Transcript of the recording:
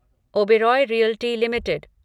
Oberoi realty limited